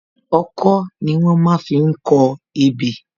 Ọkọ́ ni wón má fi ń kọ ebè